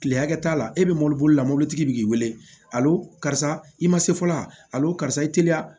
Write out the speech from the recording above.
Kile hakɛ t'a la e bɛ mɔbili bolila mɔbilitigi bi k'i wele karisa i ma se fɔ la karisa i teliya